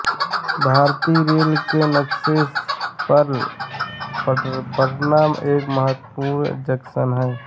भारतीय रेल के नक्शे पर पटना एक महत्वपूर्ण जंक्शन है